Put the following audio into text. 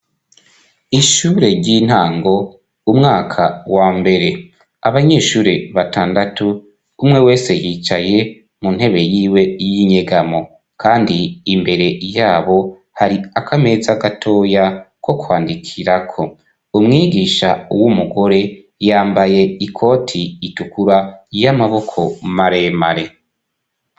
Ishure ry'intango umwaka wa mbere, abanyeshure batandatu umwe wese yicaye mu ntebe yiwe y'inyegamo kandi imbere yabo hari akameza gatoya ko kwandikirako umwigisha w'umugore yambaye ikoti itukura y'amaboko maremare.